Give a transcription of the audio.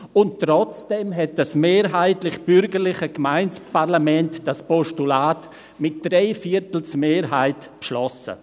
Und trotzdem hat das mehrheitlich bürgerliche Gemeindeparlament das Postulat mit einer Dreiviertelmehrheit beschlossen.